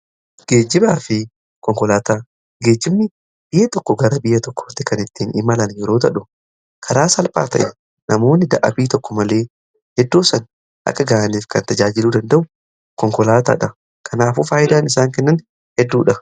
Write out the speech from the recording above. Geejjibaa fi konkolaataa: geejibni biyya tokko gara biyya tokkootti kan ittiin imalan yeroo ta'u, karaa salphaa ta'een namoonni dadhabbii tokko malee iddoo sana akka ga'aniif kan tajaajiluu danda'u konkolaataa dha. Kanaafuu faayidaan isaan kennan hedduudha.